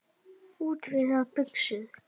Útvíðar buxur.